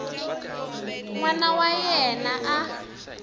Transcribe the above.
n wana wa yena a